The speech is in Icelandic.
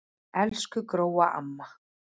Elsku Gróa amma.